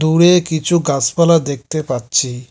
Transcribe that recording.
দূরে কিছু গাসপালা দেখতে পাচ্ছি।